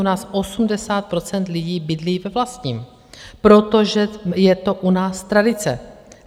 U nás 80 % lidí bydlí ve vlastním, protože je to u nás tradice.